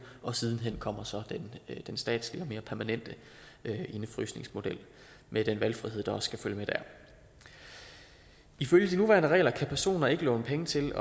og siden hen kommer så den statslige og mere permanente indefrysningsmodel med den valgfrihed der også skal følge med der ifølge de nuværende regler kan personer ikke låne penge til